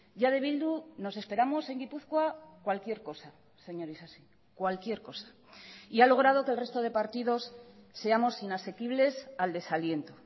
ya de bildu nos esperamos en gipuzkoa cualquier cosa señor isasi cualquier cosa y ha logrado que el resto de partidos seamos inasequibles al desaliento